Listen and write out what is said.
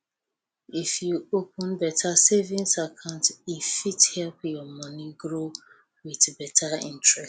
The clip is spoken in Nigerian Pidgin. if you open beta savings account e fit help your moni grow with beta interest